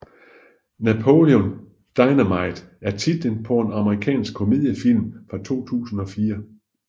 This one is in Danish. Napoleon Dynamite er titlen på en amerikansk komediefilm fra 2004